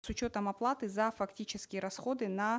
с учетом оплаты за фактические раходы на